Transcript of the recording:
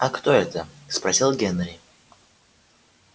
а кто это спросил генри